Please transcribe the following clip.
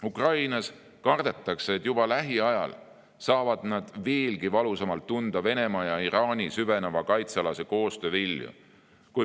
Ukrainas kardetakse, et juba lähiajal saavad nad veelgi valusamalt tunda Venemaa ja Iraani süveneva kaitsealase koostöö vilju.